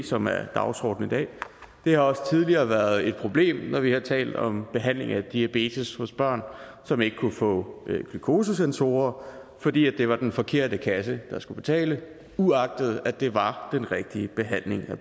som er dagsordenen i dag det har også tidligere været et problem når vi har talt om behandling af diabetes hos børn som ikke kunne få glukosesensorer fordi det var den forkerte kasse der skulle betale uagtet det var den rigtige behandling af